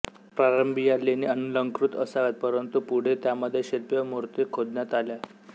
प्रारंभी या लेणी अनलंकृत असाव्यात परंतु पुढे त्यामधे शिल्पे व मूर्ती खोदण्यात आल्या